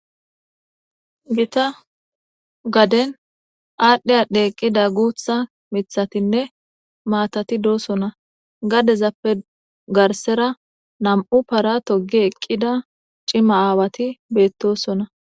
gita gaden aadhdhiy adhdhe eqqida guutha mithatinne maatati doosona gadezappe garsera nam7u para togi eqqida cima aawati beettosona